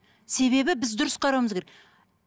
себебі біз дұрыс қарауымыз керек